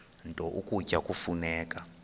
nto ukutya kufuneka